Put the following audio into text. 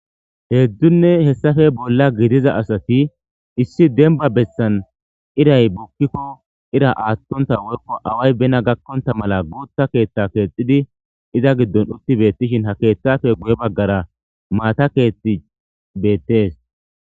heeddunne hessafe bolla gidiza asati issi demba bessan iray bukkikko ira aattonta woykko away bena gakkonta mala guutha keeththa keexxidi iza giddon utti beettishin ha keeththafe guye baggara maata keetti beettes